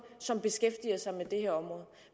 som beskæftiger sig med det her område